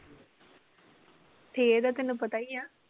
ਦਾ ਤੈਨੂੰ ਪਤਾ ਈ ਆ।